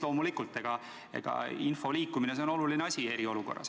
Loomulikult, info liikumine on oluline asi eriolukorra ajal.